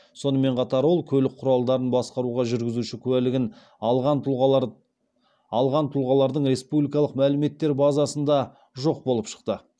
сонымен қатар ол көлік құралдарын басқаруға жүргізуші куәлігін алған тұлғалардың республикалық мәліметтер базасында жоқ болып шықты